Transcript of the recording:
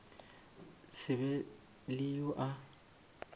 se be le yo a